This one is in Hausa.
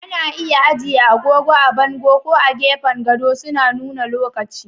Ana iya ajiye agogo a bango ko a gefen gado, suna nuna lokaci.